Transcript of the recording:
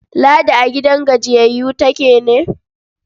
Ladi a gidan gajiyayyu take ne?